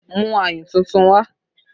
Mú ayùn tuntun wá!